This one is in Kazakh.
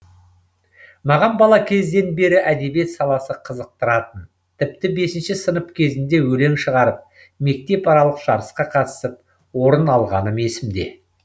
маған бала кезден бері әдебиет саласы қызықтыратын тіпті бес сынып кезінде өлең шығарып мектеп аралық жарысқа қатысып орын алғаным есімде